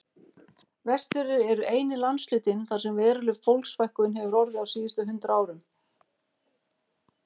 Vestfirðir eru eini landshlutinn þar sem veruleg fólksfækkun hefur orðið á síðustu hundrað árum.